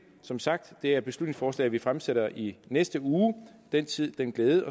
som sagt et beslutningsforslag vi fremsætter i næste uge den tid den glæde